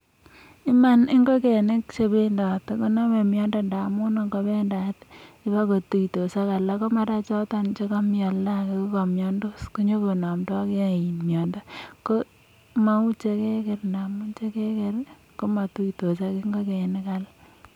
True, chicken that walk contract diseases because when they walk freely they tend to meet other chicken that could be sick and therefore infecting each other unlike caged ones that do not meet other chicken.